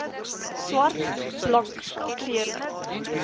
swart blank kleurling